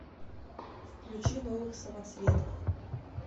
включи новых самоцветов